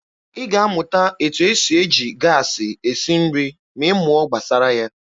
Ị ga-amụta etu esi eji gaasị esi nri ma ị mụọ gbasara ya.